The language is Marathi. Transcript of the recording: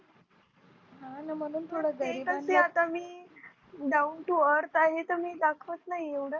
ते कस आहे आता मी Down to earth आहे तर मी दाखवत नाही एवढं.